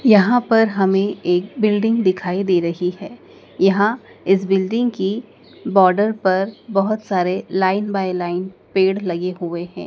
यहाँ पर हमें एक बिल्डिंग दिखाई दे रही है यहाँ इस बिल्डिंग की बॉर्डर पर बहोत सारे लाइन बाय लाइन पेड़ लगे हुए हैं।